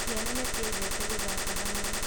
Ciana nĩciendete gũthaka hamwe